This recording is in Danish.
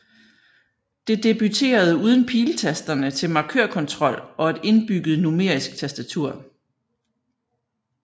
Det debuterede uden piletasterne til markørkontrol og et indbygget numerisk tastatur